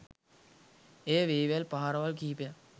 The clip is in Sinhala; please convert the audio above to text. එය වේවැල් පහරවල් කිහිපයක්